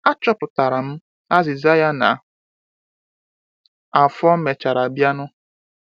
achọpụtara m azịza ya na afọ mèchàrà bịanụ